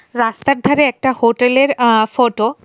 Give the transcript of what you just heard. রাস্তার ধারে একটা হোটেলের আঃ ফোটো .